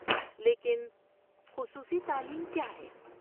لیکن، خصوصی تعلیم کیا ہے؟